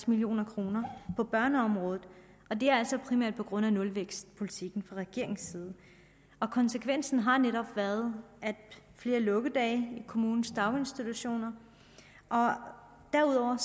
million kroner på børneområdet og det er altså primært på grund af nulvækstpolitikken fra regeringens side og konsekvensen har netop været flere lukkedage i kommunens daginstitutioner derudover